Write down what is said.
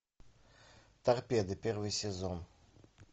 торпеды первый сезон